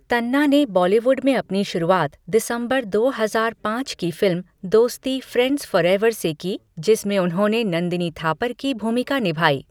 तन्ना ने बॉलीवुड में अपनी शुरुआत दिसंबर दो हजार पाँच की फिल्म, दोस्ती फ्रेंड्स फॉरएवर से की जिसमें उन्होंने नंदिनी थापर की भूमिका निभाई।